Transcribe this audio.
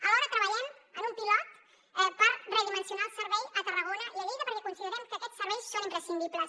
alhora treballem en un pilot per redimensionar el servei a tarragona i a lleida perquè considerem que aquests serveis són imprescindibles